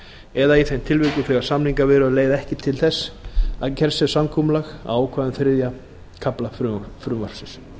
eða í þeim tilvikum þegar samningaviðræður leiða ekki til þess að gert sé samkomulag á ákvæðum þriðja kafla frumvarpsins